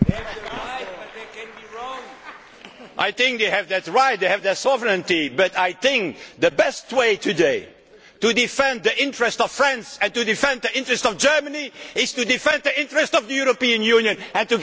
I think they have that right, they have their sovereignty, but I think the best way today to defend the interest of France and to defend the interest of Germany is to defend the interest of the European Union and to give more power to Europe. That is their interest.